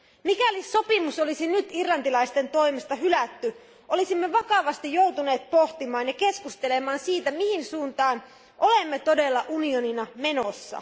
Mikäli sopimus olisi nyt irlantilaisten toimesta hylätty, olisimme vakavasti joutuneet pohtimaan ja keskustelemaan siitä, mihin suuntaan olemme todella unionina menossa.